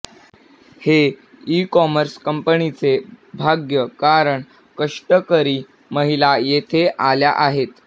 हे ईकॉमर्स कंपनीचे भाग्य कारण कष्टकरी महिला येथे आल्या आहेत